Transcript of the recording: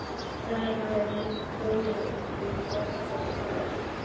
Þar hafði hann komið um borð, þessi maður.